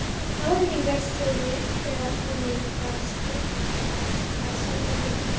Ráðningarstjóri, þegar honum var skipað að senda þig hingað.